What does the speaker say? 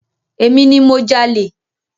Emi ni mo jalè.